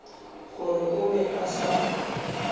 gore o be a sa